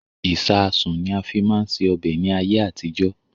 Ìsáásùn ni a fi máa ń ṣe ọbẹ̀ ni ayé àtijọ́